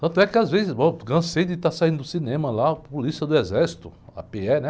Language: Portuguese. Tanto é que às vezes, bom, cansei de estar saindo do cinema lá, a polícia do exército, a pê-é, né?